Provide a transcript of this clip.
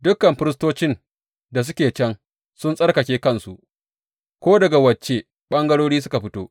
Dukan firistocin da suke can sun tsarkake kansu, ko daga wace ɓangarori suka fito.